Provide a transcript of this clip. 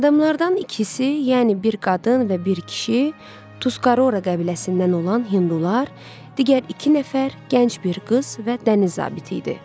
Adamlardan ikisi, yəni bir qadın və bir kişi Tuskara qəbiləsindən olan hindular, digər iki nəfər gənc bir qız və dəniz zabiti idi.